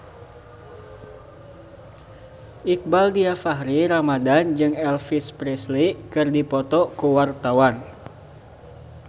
Iqbaal Dhiafakhri Ramadhan jeung Elvis Presley keur dipoto ku wartawan